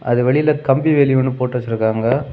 அது வெளியில கம்பி வேலி ஒன்னு போட்டு வச்சிருக்காங்க.